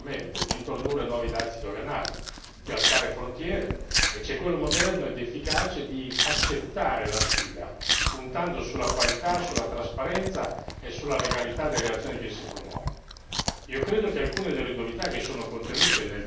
c'è quello antistorico, che viene suggerito ripetutamente, di introdurre nuovi dazi doganali, di alzare frontiere, e c'è quello moderno ed efficace di accettare la sfida, puntando sulla qualità, sulla trasparenza e sulla legalità delle azioni che si promuovono.